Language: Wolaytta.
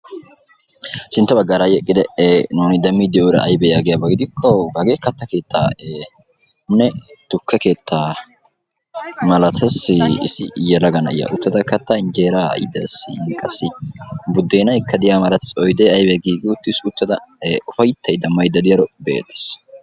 Sintta bagggara hai eqqidi nuni deemidi de'iyora aybe yagiaba gidiko hagee katta keettane tuuke keetta malaates. Issi yeelaga naa'iya uttada katta injjera qassi buddenaykka de'iyaba malaates. Oydde aybay gigi uttiis. Uttada ufayttayda maayda diyaro be'etees.